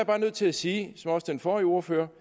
bare nødt til at sige som også den forrige ordfører